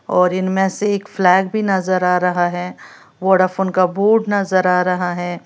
और इनमें से एक फ्लैग भी नजर आ रहा है वोडाफोन का बोर्ड नजर आ रहा है।